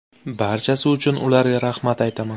Barchasi uchun ularga rahmat aytaman.